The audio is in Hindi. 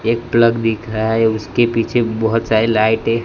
एक प्लग दिखा रहा उसके पीछे बहोत सारी लाइटे --